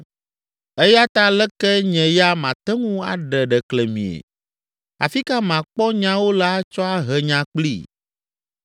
“Eya ta aleke nye ya mate ŋu aɖe ɖeklemie? Afi ka makpɔ nyawo le atsɔ ahe nya kplii?